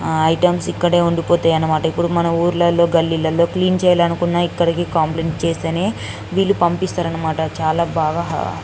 ఆ ఐటమ్స్ ఇక్కడే వుంది పోతై అనమాట ఇప్పుడు మన ఊర్లళ్ళో గల్లీలల్లో క్లీన్ చేయాలనుకున్న ఇక్కడికి కంప్లయింట్ చేస్తేనే వీల్లు పంపిస్తారు అనమాట చాలా బాగా --